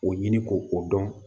O ɲini k'o o dɔn